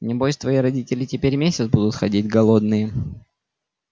небось твои родители теперь месяц будут ходить голодные